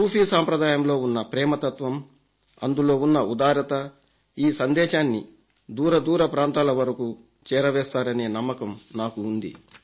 సూఫీ సాంప్రదాయంలో ఉన్న ప్రేమతత్త్వం అందులో ఉన్న ఉదారత ఈ సందేశాన్ని దూరదూర ప్రాంతాల వరకు చేరవేస్తారనే నమ్మకం నాకు ఉంది